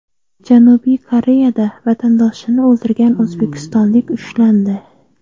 Janubiy Koreyada vatandoshini o‘ldirgan o‘zbekistonlik ushlandi.